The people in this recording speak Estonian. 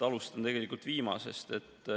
Alustan viimasest.